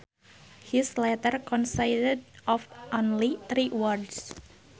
His letter consisted of only three words